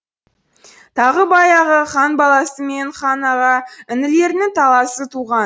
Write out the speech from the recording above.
тағы баяғы хан баласы мен хан аға інілерінің таласы туған